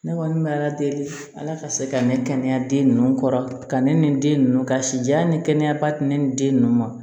Ne kɔni bɛ ala deli ala ka se ka ne kɛnɛya den ninnu kɔrɔ ka ne ni den ninnu ka si jɛya ni kɛnɛyaba tɛ ne ni den ninnu ma